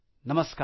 नमस्कार